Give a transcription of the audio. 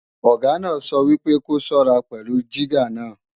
Ọ̀gá náà sọ wípé ko ṣọ́ra pẹ̀lú jígà náà!